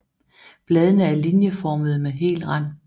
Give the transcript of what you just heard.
Bladene er linjeformede med hel rand